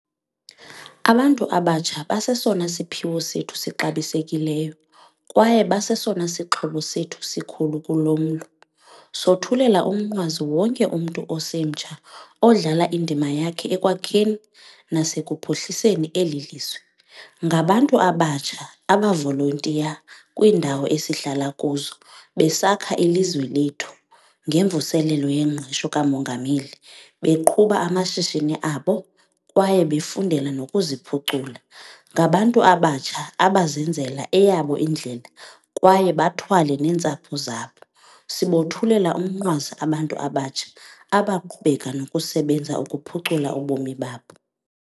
Abantu abatsha basesona siphiwo sethu sixabisekileyo, kwaye basesona sixhobo sethu sikhulu kulo mlo. Sothulela umnqwazi wonke umntu osemtsha odlala indima yakhe ekwakheni nasekuphuhliseni eli lizwe. Ngabantu abatsha abavolontiya kwiindawo esihlala kuzo, besakha ilizwe lethu ngeMvuselelo yeNgqesho kaMongameli, beqhuba amashishini abo kwaye befundela nokuziphucula. Ngabantu abatsha abazenzela eyabo indlela kwaye bathwale neentsapho zabo. Sibothulela umnqwazi abantu abatsha abaqhubeka nokusebenza ukuphucula ubomi babo.